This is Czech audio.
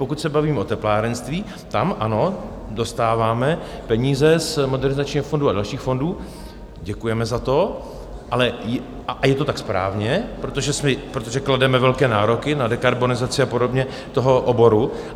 Pokud se bavíme o teplárenství, tam ano, dostáváme peníze z Modernizačního fondu a dalších fondů, děkujeme za to, ale je to tak správně, protože klademe velké nároky na dekarbonizaci a podobně toho oboru.